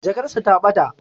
Jakar sa ta bata